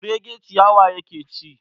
Kurege ciyawa yake ci.